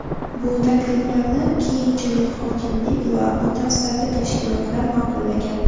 Bu takliflarni keyinchalik hokimlik va mutasaddi tashkilotlar ma’qullagan.